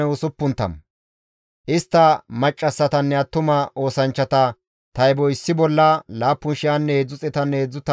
Oyddu xeetanne heedzdzu tammanne ichchashu gaamellatinne 6,720 hareti isttas deettes.